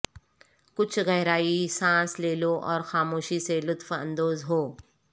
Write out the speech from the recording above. کچھ گہرائی سانس لے لو اور خاموشی سے لطف اندوز ہو